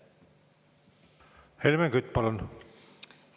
Helmen Kütt, palun!